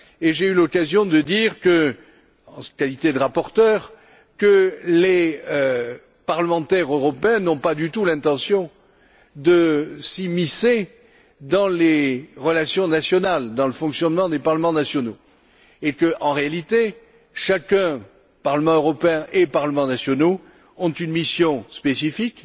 J'ai eu l'occasion de dire, en qualité de rapporteur, que les parlementaires européens n'avaient pas du tout l'intention de s'immiscer dans les relations nationales et dans le fonctionnement des parlements nationaux et que, en réalité, Parlement européen et parlements nationaux avaient une mission spécifique,